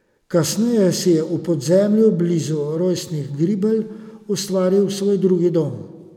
Kasneje si je v Podzemlju, blizu rojstnih Gribelj, ustvaril svoj drugi dom.